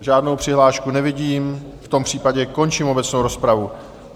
Žádnou přihlášku nevidím, v tom případě končím obecnou rozpravu.